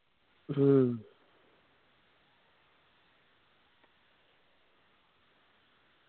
ഹും